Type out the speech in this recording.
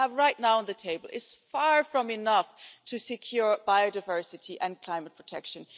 What we have right now on the table is far from enough to secure biodiversity and climate protection.